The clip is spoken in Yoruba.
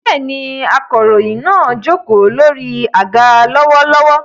Bẹ́ẹ̀ni, akọ̀ròyìn náà jókòó lórí àga lọ́wọ́lọ́wọ́.